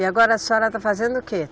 E agora a senhora está fazendo o quê?